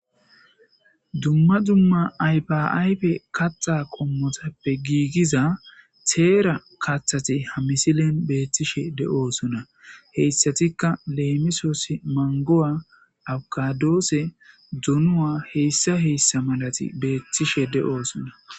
Dumma dumma ayife ayifida kata qommotuppe g teera kattathi ha misilen betishe de'osona.he iisatikka lemisosi dumma duma marat betosona